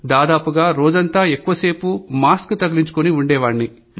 దాదాపుగా రోజంతా ఎక్కువసేపు మాస్క్ తగిలించుకొని ఉండేవాన్ని